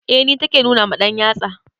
Eh ni take nuna ma ɗanyatsa.